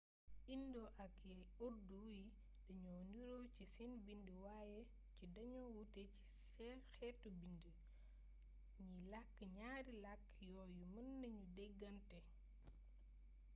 indo yi ak urdu yi dañoo niiro ci seen bind waaye ci dañoo wuute ci xeetu bindiin ñiy lakk ñaari lakk yooyu mën nañu dégante